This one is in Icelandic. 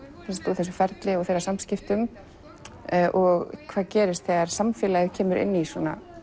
þessu ferli þeirra samskiptum og hvað gerist þegar samfélagið kemur inn í svona